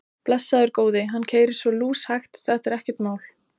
Blessaður góði. hann keyrir svo lúshægt, þetta er ekkert mál.